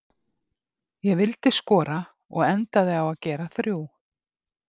Ég vildi skora og endaði á að gera þrjú.